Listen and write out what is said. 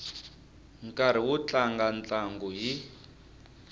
nkarhi wo tlanga ntlangu hi